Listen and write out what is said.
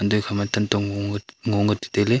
noikha ma tantong ngoi ke tuta tailey.